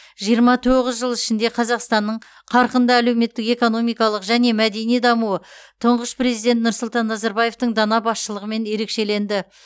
жиырма тоғыз жыл ішінде қазақстанның қарқынды әлеуметтік экономикалық және мәдени дамуы тұңғыш президент нұрсұлтан назарбаевтың дана басшылығымен ерекшеленді